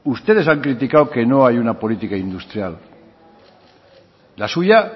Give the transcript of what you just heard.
ustedes han criticado que no hay una política industrial la suya